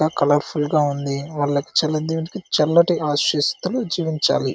Colour full గా ఉంది. వాళ్లకి చల్లటి ఆశిస్తూ జీవించాలి.